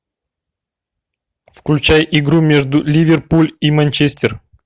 включай игру между ливерпуль и манчестер